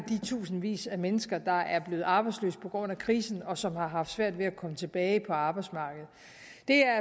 tusindvis af mennesker der er blevet arbejdsløse på grund af krisen og som har svært ved at komme tilbage på arbejdsmarkedet